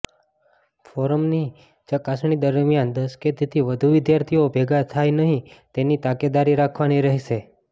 ફોર્મની ચકાસણી દરમિયાન દસ કે તેથી વધુ વિદ્યાર્થીઓ ભેગા થાય નહીં તેની તકેદારી રાખવાની રહેશે